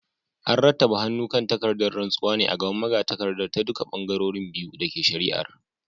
An rattaba hannu kan takardar rantsuwar ne a gaban magatakardar ta duka bangarorin biyu da ke shari’ar.